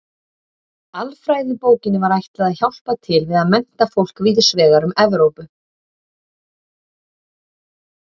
Alfræðibókinni var ætlað að hjálpa til við að mennta fólk víðs vegar um Evrópu.